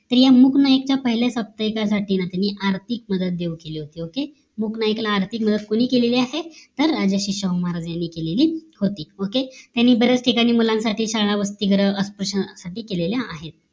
तर या मूक नाईक च्या पहिल्या साप्ताहिका साठी त्यांनी आर्थिक मदत देऊ केली होती OKAY मूक नाईकना आर्थिक मदत कोणी केलेली आहे तर राजर्षी शाहू महाराज यांनी केलेली होती OKAY यांनी बऱ्याच ठिकाणी मुलांसाठी शाळा, वसतिगृह अस्पृश्यानसाठी केलेली आहेत